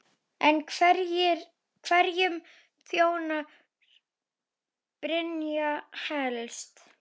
En hverjum þjónar Brynja helst?